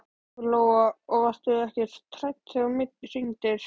Lóa: Og varstu ekkert hrædd þegar þú hringdir?